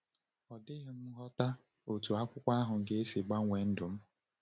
Ọ dịghị m aghọta otú akwụkwọ ahụ ga-esi gbanwee ndụ m.